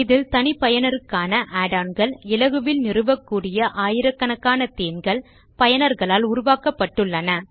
இதில் தனிப்பயனருக்கான add on கள் இலகுவில் நிறுவக்கூடிய ஆயிரக்கணக்கான தேமே கள் பயனர்களால் உருவாக்கப்பட்டுள்ளன